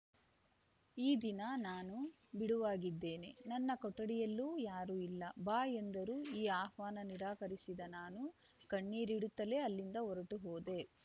ಈ ದಿನ ನಾನು ಬಿಡುವಾಗಿದ್ದೇನೆ ನನ್ನ ಕೊಠಡಿಯಲ್ಲೂ ಯಾರೂ ಇಲ್ಲ ಬಾ ಎಂದರು ಈ ಆಹ್ವಾನ ನಿರಾಕರಿಸಿದ ನಾನು ಕಣ್ಣೀರಿಡುತ್ತಲೇ ಅಲ್ಲಿಂದ ಹೊರಟು ಹೋದೆ